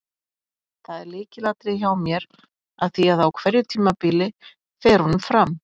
Það er lykilatriði hjá mér af því að á hverju tímabili fer honum fram.